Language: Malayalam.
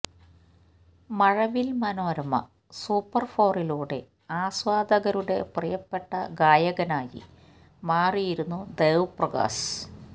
മഴവില് മനോരമ സൂപ്പർ ഫോറിലൂടെ ആസ്വാദകരുടെ പ്രിയപ്പെട്ട ഗായകനായി മാറിയിരുന്നു ദേവ് പ്രകാശ്